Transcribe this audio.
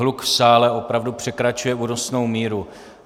Hluk v sále opravdu překračuje únosnou míru.